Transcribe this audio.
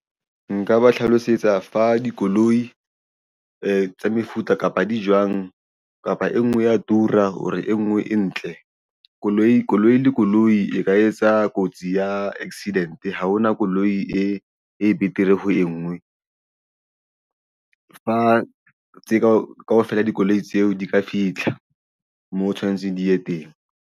Nka ba hlalosetsa fa dikoloi tsa mefuta kapa di jwang kapa e nngwe ya tura hore e nngwe e ntle koloi le koloi e ka etsa kotsi ya ya accident ha hona koloi e betere ho engwe fa tseo kaofela dikoloi tseo di ka fitlha moo o tshwanetseng di ye teng.